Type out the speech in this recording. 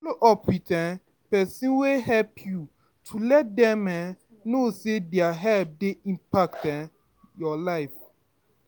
Follow up with um person wey help you, to let them um know sey their help dey impact um your life